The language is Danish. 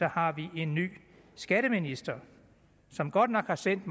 har vi en ny skatteminister som godt nok har sendt